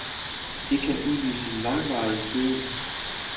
Det kan udløse langvarig gøen.